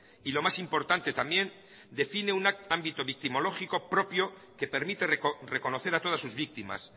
y lo más importante también define un ámbito victimológico propio que permite reconocer a todas sus víctimas